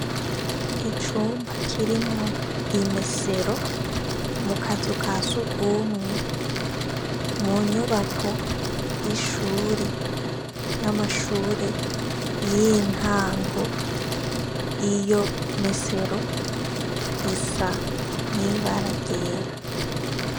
Icumba kirimwo imesero mu kazu ka surwumwe mu nyubako y'ishure y'amashure y'intango iyo mesero isa n'ibara ryera.